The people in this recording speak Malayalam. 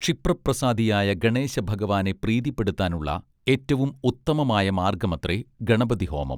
ക്ഷിപ്രപ്രസാദിയായ ഗണേശഭഗവാനെ പ്രീതിപ്പെടുത്താനുള്ള ഏറ്റവും ഉത്തമമായ മാർഗ്ഗമത്രേ ഗണപതിഹോമം